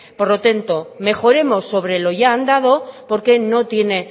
por lo tanto mejoremos sobre lo ya andando porque no tiene